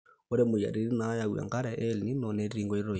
ore moyiaritin naayau enkare e el nino netii enkoitoi